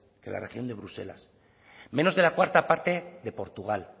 que la región de bruselas menos de la cuarta parte de portugal